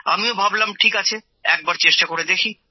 আমিও ভাবলাম ঠিক আছে একবার চেষ্টা করে দেখি